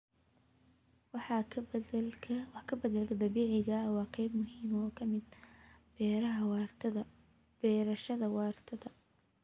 Wax ka beddelka dabiiciga ah waa qayb muhiim ah oo ka mid ah beerashada waarta.